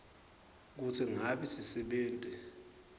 kutsi ngabe sisebenti